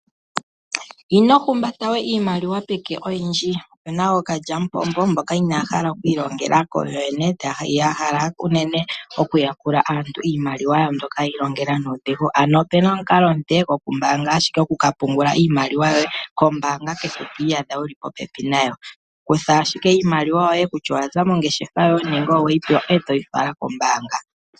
Ino humbata we iimaliwa oyindji peke. Opu na ookalyamupombo, mboka inaya hala oku ilongela yoyene. Ya hala unene okuyakula aantu iimaliwa yawo mbyoka yi ilongela nuudhigu. Opuna omukalo omupe gokumbaanga iimaliwa yoye kombaanga kehe to iyadha wu li popepi nayo. Kutha ashike iimaliwa yoye kutya oya za mongeshefa yoye nenge owe yi pewa, e to yi fala kombaanga.